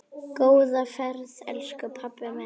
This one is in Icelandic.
Góða ferð, elsku pabbi minn.